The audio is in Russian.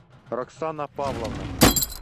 роксана павловна